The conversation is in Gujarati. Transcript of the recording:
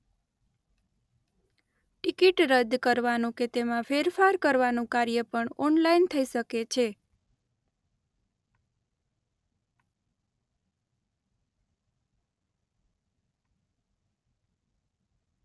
ટિકીટ રદ કરવાનું કે તેમાં ફેરફાર કરવાનું કાર્ય પણ ઓનલાઇન થઈ શકે છે.